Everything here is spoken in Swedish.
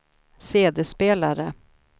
CD-spelare